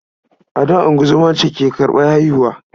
A da, ungozoma ce ke karɓar haihuwa.